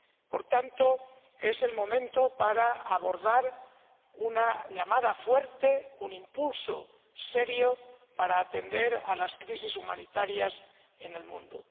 Por tanto, es el momento para abordar una llamada fuerte, un impulso serio para atender a las crisis humanitarias en el mundo.